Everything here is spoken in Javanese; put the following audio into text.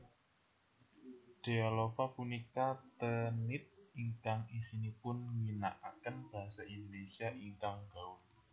Dealova punika teenlit ingkang isinipun ngginakaken Basa Indonesia ingkang gaul